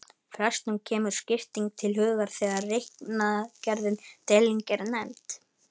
Flestum kemur skipting til hugar þegar reikniaðgerðin deiling er nefnd.